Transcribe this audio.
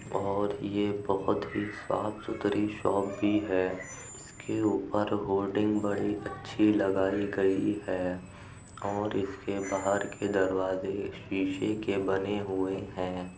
और ये बहुत ही साफ़ सुथरी शॉप भी है उसके ऊपर होअर्डिंग बड़ी अच्छी लगाई गई है और इसके बाहर के दरवाजे शीशे के बने हुए हैं।